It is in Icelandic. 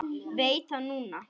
Veit það núna.